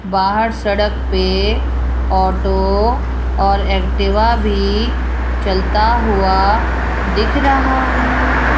बाहर सड़क पे ऑटो और एक्टिवा भी चलता हुआ दिख रहा है।